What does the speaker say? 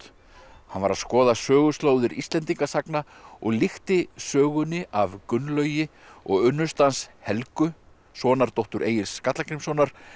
hann var að skoða söguslóðir Íslendingasagna og líkti sögunni af Gunnlaugi og unnustu hans Helgu sonardóttur Egils Skallagrímssonar